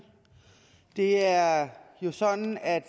det er jo sådan at